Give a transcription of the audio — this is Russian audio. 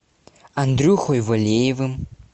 андрюхой валеевым